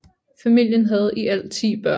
Familien havde i alt 10 børn